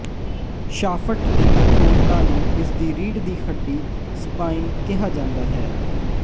shaft ਦੀ ਕਠੋਰਤਾ ਨੂੰ ਇਸਦੀ ਰੀੜ੍ਹ ਦੀ ਹੱਡੀ ਸਪਾਈਨ ਕਿਹਾ ਜਾਂਦਾ ਹੈ